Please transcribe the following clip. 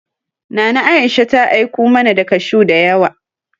Nana Aisha ta aiku mana da kashuw da yawa.